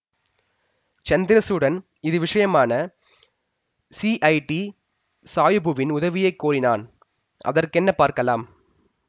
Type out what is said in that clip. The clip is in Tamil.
சந்திரசூடன் இது விஷயமான ஸிஐடி சாயபுவின் உதவியைக் கோரினான் அதற்கென்ன பார்க்கலாம்